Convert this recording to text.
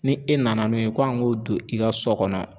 Ni e nana n'o ye k'an k'o don i ka so kɔnɔ